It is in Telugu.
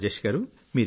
రాజేష్ గారూ